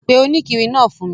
Pe òníkiri naa fun mi